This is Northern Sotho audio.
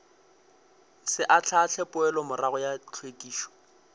se ahlaahle poelomorago ya hlwekišo